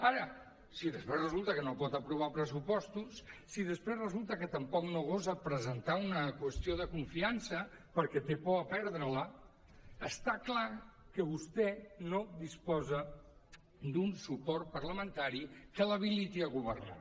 ara si després resulta que no pot aprovar pressupostos si després resulta que tampoc no gosa presentar una qüestió de confiança perquè té por de perdre la està clar que vostè no disposa d’un suport parlamentari que l’habiliti a governar